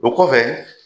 O kɔfɛ